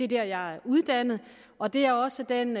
der jeg er uddannet og det er også den